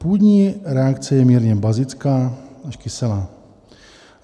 Půdní reakce je mírně bazická až kyselá.